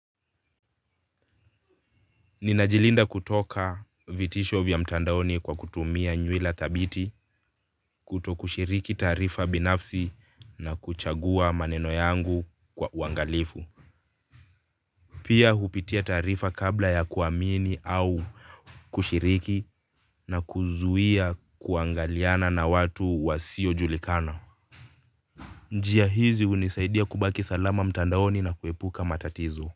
Ninajilinda kutoka vitisho vya mtandaoni kwa kutumia nywila thabiti kutokushiriki taarifa binafsi na kuchagua maneno yangu kwa uangalifu. Pia hupitia taarifa kabla ya kuamini au kushiriki na kuzuia kuangaliana na watu wasiojulikana. Njia hizi hunisaidia kubaki salama mtandaoni na kuepuka matatizo.